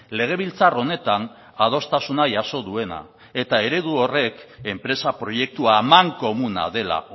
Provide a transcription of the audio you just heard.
legebiltzar honetan adostasuna jaso duena eta eredu horrek enpresa proiektua amankomuna dela